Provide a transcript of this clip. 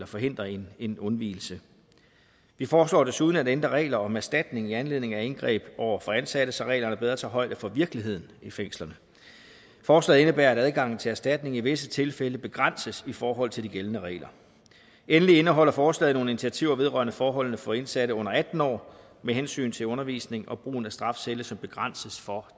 forhindre en en undvigelse vi foreslår desuden at ændre regler om erstatning i anledning af indgreb over for ansatte så reglerne bedre tager højde for virkeligheden i fængslerne forslaget indebærer at adgangen til erstatning i visse tilfælde begrænses i forhold til de gældende regler endelig indeholder forslaget nogle initiativer vedrørende forholdene for indsatte under atten år med hensyn til undervisning og brugen af strafcelle som begrænses for